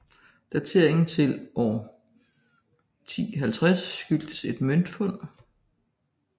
Dateringen til omkring 1050 skyldes et møntfund